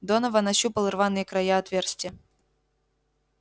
донован ощупал рваные края отверстия